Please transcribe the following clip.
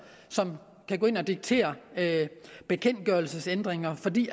som kan gå ind og diktere bekendtgørelsesændringer fordi